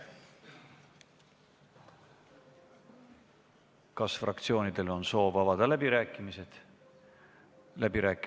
Kas fraktsioonidel on soovi pidada läbirääkimisi?